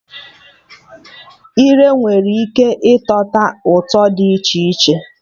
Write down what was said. Ire nwere ike ịtọta ụtọ dị iche iche